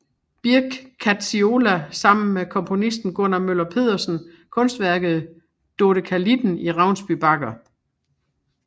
Birch Kadziola sammen med komponisten Gunner Møller Pedersen kunstværket Dodekalitten i Ravnsby Bakker